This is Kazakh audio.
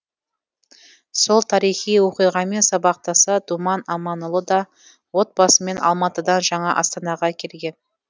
сол тарихи оқиғамен сабақтаса думан аманұлы да отбасымен алматыдан жаңа астанаға келген